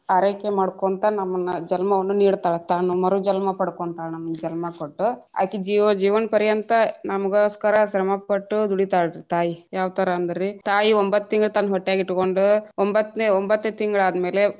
ಆರೈಕೆ ಮಾಡ್ಕೊಂತ ನಮ್ಮನ್ನ ಜನ್ಮವನ್ನು ನೀಡ್ತಾಳ ತಾನು ಮರು ಜನ್ಮ ಪಡಕೊಂತಾಳ ನಮ್ಗ್ ಜನ್ಮ ಕೊಟ್ಟು ಅಕಿ ಜೀವ~ ಜೀವನ್ಪರಿಯಂತ ನಮಗೊಸ್ಕರ ಶ್ರಮ ಪಟ್ಟು ದುಡಿತಾಳ್ ರೀ ತಾಯಿ ಯಾವತರಾ ಅಂದ್ರಿ ತಾಯಿ ಒಂಬತ್ತು ತಿಂಗಳ ತನ್ನ ಹೊಟ್ಯಾಗ ಇಟ್ಕೊಂಡು ಒಂಭತ್ನೆೇ ಒಂಬತ್ತನೆ ತಿಂಗಳಾದ ಮೇಲೆ